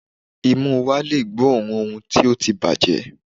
Imú wa le gbóòórùn ohun tó ti bàjẹ́.